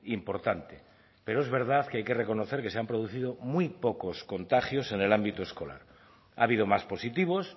importante pero es verdad que hay que reconocer que se han producido muy pocos contagios en el ámbito escolar ha habido más positivos